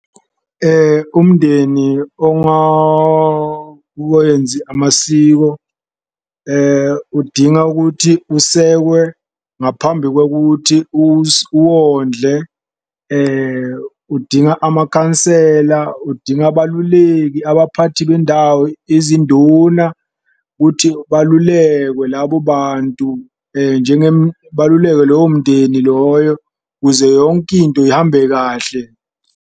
Umndeni amasiko udinga ukuthi usekwe ngaphambi kokuthi uwondle, udinga amakhansela, udinga abaluleki abaphathi bendawo, izinduna kuthi balulekwe labo bantu baluleke lowo mndeni loyo kuze yonke into ihambe kahle.